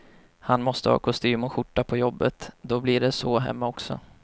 Han måste ha kostym och skjorta på jobbet, då blir det så hemma också.